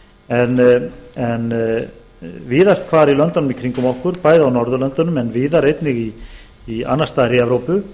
en víðast hvar í löndunum í kringum okkur bæði á norðurlöndum en víðar einnig annars staðar í evrópu